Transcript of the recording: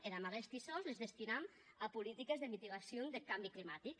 e aguesti sòs les destinam a politiques de mitigacion deth cambi climatic